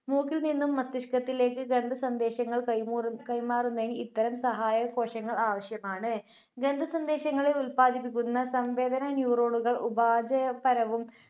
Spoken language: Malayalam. മൂക്കിൽനിന്നും മസ്തിഷ്കത്തിലേക്ക് ഗന്ധസന്ദേശങ്ങൾ കൈമുറ്~കൈമാറുന്ന ഇത്തരം സഹായകോശങ്ങൾ ആവശ്യമാണ്. ഗന്ധസന്ദേശങ്ങളെ ഉല്പാദിപ്പിക്കുന്ന സംവേദന neuron കൾ ഉപാദപരവും